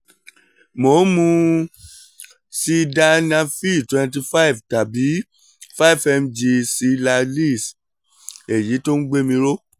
mo ń mu sildenafil twenty five tàbí five mg cialis èyí tó ń gbé mi ró